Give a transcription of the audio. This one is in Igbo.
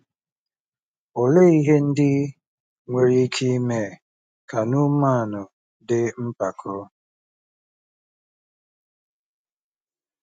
Olee ihe ndị nwere ike ime ka Neaman dị mpako?